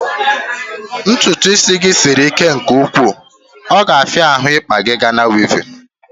Ntụtụ isi gị sịrị ike nke ụkwụ, ọ ga afia ahụ ikpa gị Gana wevin